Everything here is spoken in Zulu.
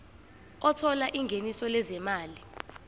othola ingeniso lezimali